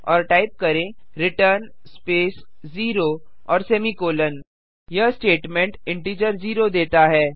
और टाइप करें return space 0 और सेमीकोलों यह स्टेटमेंट इंटीजर जीरो देता है